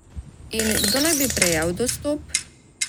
In kdo naj bi prejel dostop?